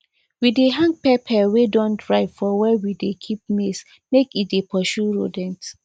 we dey hang pepper wey don dry for where we dey keep maize make e dey pursue rodents